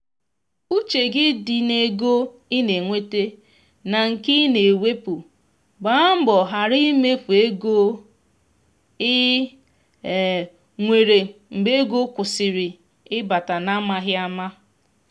uche gị di n’ego ị na enweta na nke i na ewepụ gba mbọ ghara imefu ego i um nwere mgbe ego kwụsịrị ịbata n’amaghị ama.